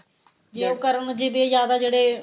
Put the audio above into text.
ਜੇ ਉਹ ਕਰਮ ਜਿਹਦੇ ਜਿਆਦਾ ਜਿਹੜੇ